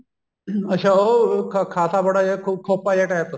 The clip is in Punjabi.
ਅੱਛਾ ਉਹ ਖਾਸਾ ਬੜਾ ਜਿਆ ਖੋਪਾ ਜਾ type